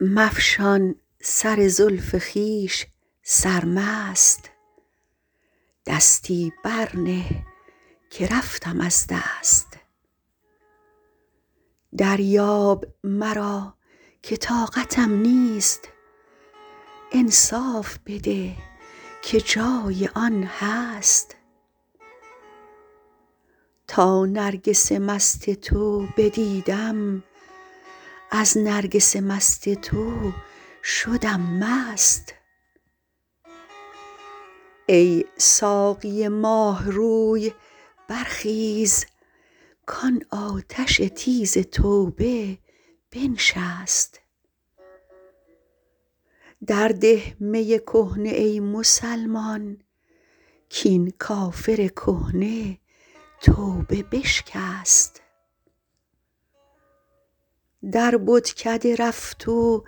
مفشان سر زلف خویش سرمست دستی بر نه که رفتم از دست دریاب مرا که طاقتم نیست انصاف بده که جای آن هست تا نرگس مست تو بدیدم از نرگس مست تو شدم مست ای ساقی ماه روی برخیز کان آتش تیز توبه بنشست در ده می کهنه ای مسلمان کین کافر کهنه توبه بشکست در بتکده رفت و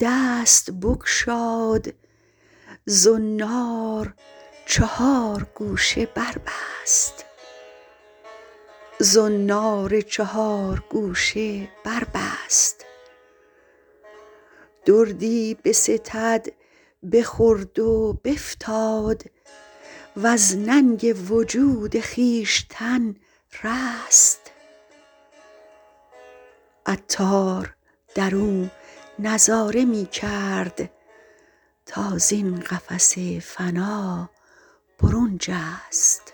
دست بگشاد زنار چهار گوشه بربست دردی بستد بخورد و بفتاد وز ننگ وجود خویشتن رست عطار درو نظاره می کرد تا زین قفس فنا برون جست